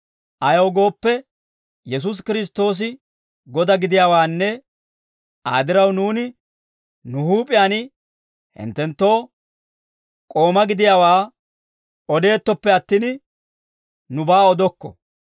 Ayaw gooppe, Yesuusi Kiristtoosi Godaa gidiyaawaanne Aa diraw nuuni nu huup'iyaan hinttenttoo k'ooma gidiyaawaa odettooppe attin, nubaa odokko.